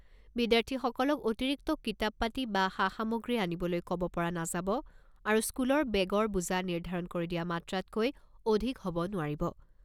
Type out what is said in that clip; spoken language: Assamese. বিদ্যাৰ্থীসকলক অতিৰিক্ত কিতাপ পাতি বা সা সামগ্ৰী অনিবলৈ ক'ব পৰা নাযাব আৰু স্কুলৰ বেগৰ বোজা নিৰ্ধাৰণ কৰি দিয়া মাত্ৰাতকৈ অধিক হ'ব নোৱাৰিব।